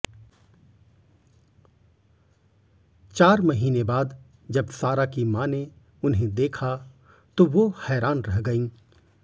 चार महीने बाद जब सारा की मां ने उन्हें देखा तो वो हैरान रह गईं